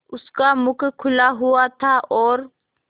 उसका मुख खुला हुआ था और